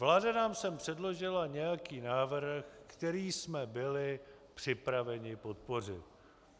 Vláda nám sem předložila nějaký návrh, který jsme byli připraveni podpořit.